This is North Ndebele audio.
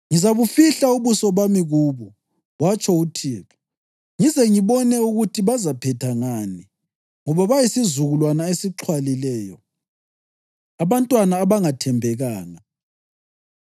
‘Ngizabufihla ubuso bami kubo,’ watsho uThixo, ‘ngize ngibone ukuthi bazaphetha ngani; ngoba bayisizukulwana esixhwalileyo abantwana abangathembekanga.